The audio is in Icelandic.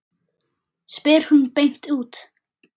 spyr hún beint út.